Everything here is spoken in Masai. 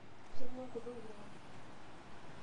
Keng'u enkutuk ino.